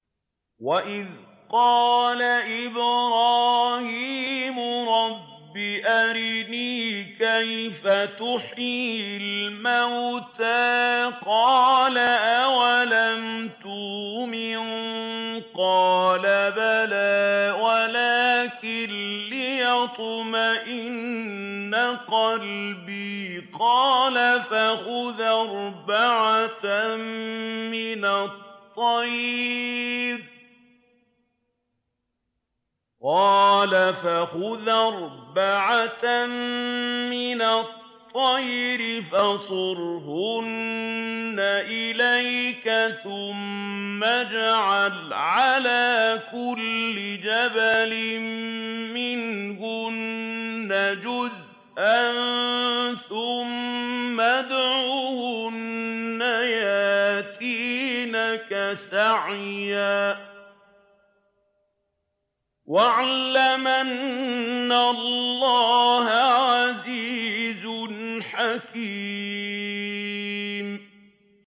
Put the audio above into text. وَإِذْ قَالَ إِبْرَاهِيمُ رَبِّ أَرِنِي كَيْفَ تُحْيِي الْمَوْتَىٰ ۖ قَالَ أَوَلَمْ تُؤْمِن ۖ قَالَ بَلَىٰ وَلَٰكِن لِّيَطْمَئِنَّ قَلْبِي ۖ قَالَ فَخُذْ أَرْبَعَةً مِّنَ الطَّيْرِ فَصُرْهُنَّ إِلَيْكَ ثُمَّ اجْعَلْ عَلَىٰ كُلِّ جَبَلٍ مِّنْهُنَّ جُزْءًا ثُمَّ ادْعُهُنَّ يَأْتِينَكَ سَعْيًا ۚ وَاعْلَمْ أَنَّ اللَّهَ عَزِيزٌ حَكِيمٌ